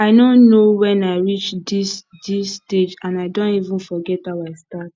i no know wen i reach dis dis stage and i don even forget how i start